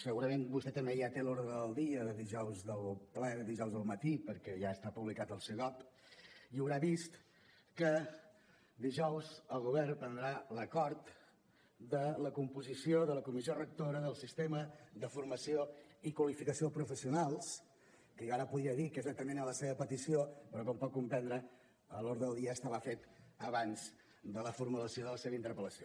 segurament vostè també ja té l’ordre del dia del ple del dijous al matí perquè ja està publicat al bopc i deu haver vist que dijous el govern prendrà l’acord de la composició de la comissió rectora del sistema de formació i qualificació professionals que jo ara podria dir que és atenent a la seva petició però com pot comprendre l’ordre del dia estava fet abans de la formulació de la seva interpel·lació